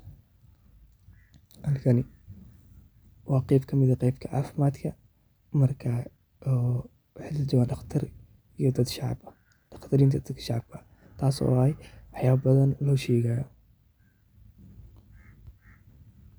Halkani waa qeyb kamid ah qeybta caafimaadka marka oo waxaa lajooga daqtar iyo dad shacab ah taas oo ah waxyaaba badhan looshegaya.